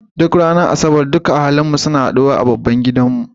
Duk ranar asabar duka ahalin mu suna haɗu wa a babban gidan mu.